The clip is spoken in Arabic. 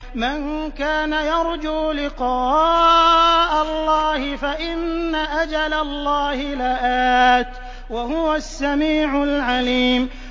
مَن كَانَ يَرْجُو لِقَاءَ اللَّهِ فَإِنَّ أَجَلَ اللَّهِ لَآتٍ ۚ وَهُوَ السَّمِيعُ الْعَلِيمُ